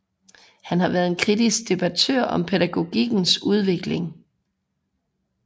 Han har været en kritisk debattør om pædagogikkens udvikling